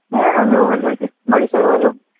হ্যাঁ আমিও ভালো আছি, বাড়ির সবাই ভালো?